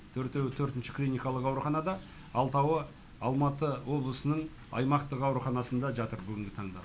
төртеуі төртінші клиникалық ауруханада алтауы алматы облысының аймақтық ауруханасында жатыр бүгінгі таңда